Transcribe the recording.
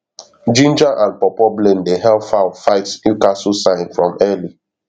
ginger and pawpaw blend dey help fowl fight newcastle sign from early